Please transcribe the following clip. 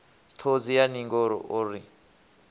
ṱhodzi ya ningo o ri